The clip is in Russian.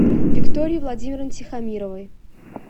виктории владимировне тихомировой